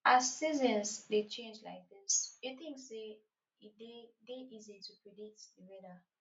as seasons dey change like dis you think say e dey dey easy to predict di weather